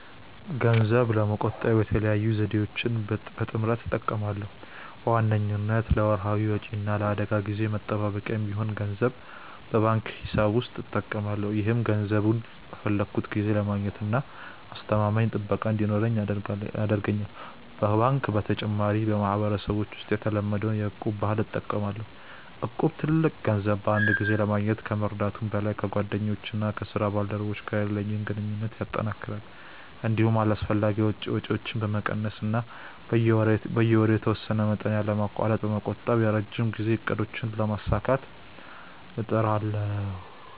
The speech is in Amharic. ገንዘብ ለመቆጠብ የተለያዩ ዘዴዎችን በጥምረት እጠቀማለሁ። በዋነኝነት ለወርሃዊ ወጪዎቼ እና ለአደጋ ጊዜ መጠባበቂያ የሚሆን ገንዘብ በባንክ ቁጠባ ሂሳብ ውስጥ አስቀምጣለሁ። ይህም ገንዘቡን በፈለግኩት ጊዜ ለማግኘትና አስተማማኝ ጥበቃ እንዲኖረው ይረዳኛል። ከባንክ በተጨማሪ፣ በማህበረሰባችን ውስጥ የተለመደውን የ'እቁብ' ባህል እጠቀማለሁ። እቁብ ትልቅ ገንዘብ በአንድ ጊዜ ለማግኘት ከመርዳቱም በላይ፣ ከጓደኞቼና ከስራ ባልደረቦቼ ጋር ያለኝን ግንኙነት ያጠናክራል። እንዲሁም አላስፈላጊ ወጪዎችን በመቀነስ እና በየወሩ የተወሰነ መጠን ያለማቋረጥ በመቆጠብ የረጅም ጊዜ እቅዶቼን ለማሳካት እጥራለሁ።